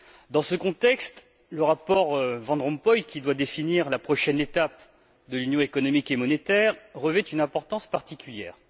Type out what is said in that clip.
Dans ce contexte, le rapport Van Rompuy, qui doit définir la prochaine étape de l'union économique et monétaire, revêt une importance particulière.